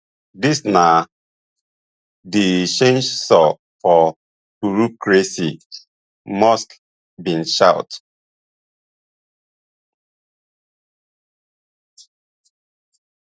dis na di chainsaw for bureaucracy musk bin shout